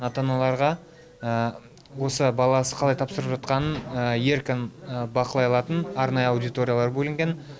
ата аналарға осы баласы қалай тапсырып жатқанын еркін бақылай алатын арнайы аудиториялар бөлінген